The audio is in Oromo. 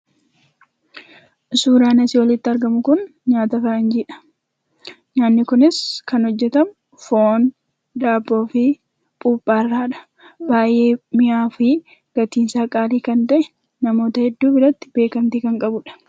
Suuraan asii olitti argamu kun nyaata faranjiidha. Nyaatni kunis kan hojjatamu foon, daabboo fi buuphaa irraadha. Baay'ee mi'aawaa fi gatiin isaa qaalii kan ta'e namoota hedduu biratti beekamtii kan qabudha.